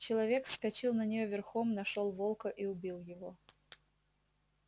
человек вскочил на неё верхом нашёл волка и убил его